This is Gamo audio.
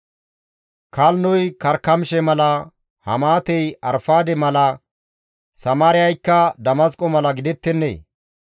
‹Kalnnoy Karkamishe mala, Hamaatey Arfaade mala, Samaariyaykka Damasqo mala gidettennee?